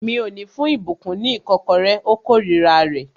Mi ò ní fún ìbùkún ní ìkọ́kọrẹ́. Ó kórira rẹ̀